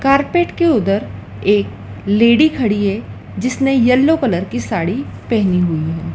Carpet के उधर एक लेडी खड़ी है जिसने येलो कलर की साड़ी पहनी हुई है।